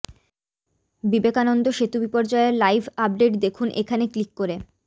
বিবেকানন্দ সেতু বিপর্যয়ের live update দেখুন এখানে ক্লিক করে